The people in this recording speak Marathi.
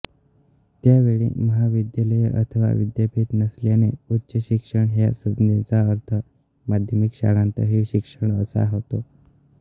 त्यावेळी महाविद्यालये अथवा विद्यापीठ नसल्याने उच्चशिक्षण ह्या संज्ञेचा अर्थ माध्यमिक शाळांतील शिक्षण असा होता